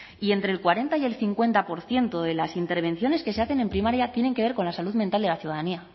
y entre el cuarenta y el cincuenta por ciento de las intervenciones que se hacen en primaria tienen que ver con la salud mental de la ciudadanía